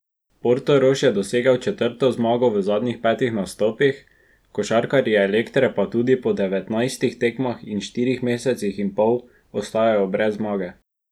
Portorož je dosegel četrto zmago v zadnjih petih nastopih, košarkarji Elektre pa tudi po devetnajstih tekmah in štirih mesecih in pol ostajajo brez zmage.